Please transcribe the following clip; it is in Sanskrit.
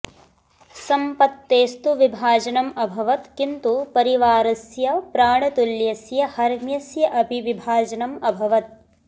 सम्पत्तेस्तु विभाजनम् अभवत् किन्तु परिवारस्य प्राणतुल्यस्य हर्म्यस्य अपि विभाजनम् अभवत्